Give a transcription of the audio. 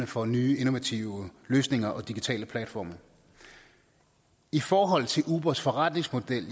for nye innovative løsninger og digitale platforme i forhold til ubers forretningsmodel